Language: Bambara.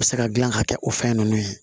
U bɛ se ka dilan ka kɛ o fɛn ninnu ye